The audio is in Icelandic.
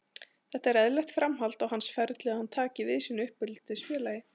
Þetta er eðlilegt framhald á hans ferli að hann taki við sínu uppeldisfélagi.